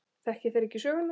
Þekki þeir ekki söguna.